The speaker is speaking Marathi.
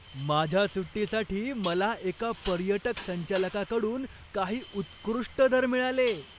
माझ्या सुट्टीसाठी मला एका पर्यटक संचालकाकडून काही उत्कृष्ट दर मिळाले.